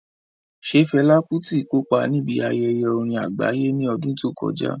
Ṣé Fela Kuti kópa níbi ayẹyẹ orin àgbáyé ní ọdún tó kọjá?